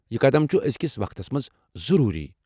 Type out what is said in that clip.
یہِ قدم چھُ ازِکِس وقتس منٛز ضروٗری۔